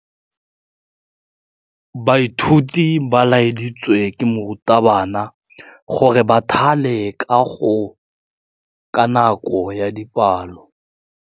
Baithuti ba laeditswe ke morutabana gore ba thale kagô ka nako ya dipalô.